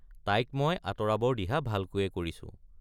তাইক মই আঁতৰাবৰ দিহা ভালকৈয়ে কৰিছো।